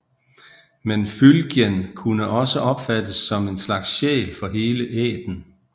Men fylgjen kunne også opfattes som en slags sjæl for hele ætten